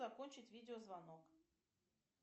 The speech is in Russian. закончить видеозвонок